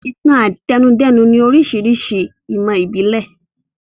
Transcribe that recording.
Ìtàn-àtẹnudẹ́nu ni oríṣiríṣi ìmọ̀ ìbílẹ̀.